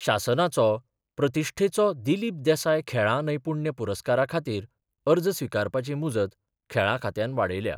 शासनाचो प्रतिश्ठेचो दिलीप देसाय खेळां नैपुण्य पुरस्कारा खातीर अर्ज स्विकारपाची मुजत खेळां खात्यान वाडयल्या.